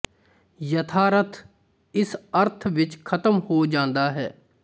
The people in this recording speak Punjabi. ਯਥਾਰਥ ਇਸ ਅਰਥ ਵਿਚ ਖਤਮ ਹੋ ਜਾਂਦਾ ਹੈ